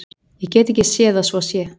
Ég get ekki séð að svo sé.